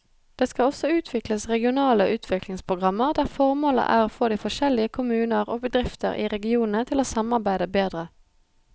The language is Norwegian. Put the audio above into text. Det skal også utvikles regionale utviklingsprogrammer der formålet er å få de forskjellige kommuner og bedrifter i regionene til å samarbeide bedre.